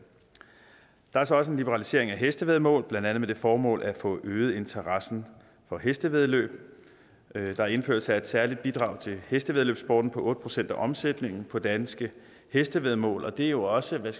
der er så også en liberalisering af hestevæddemål blandt andet med det formål at få øget interessen for hestevæddeløb der indføres et særligt bidrag til hestevæddeløbssporten på otte procent af omsætningen på danske hestevæddemål og det er jo også hvad